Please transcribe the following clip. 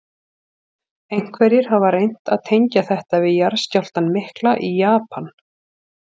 Einhverjir hafa reynt að tengja þetta við jarðskjálftann mikla í Japan.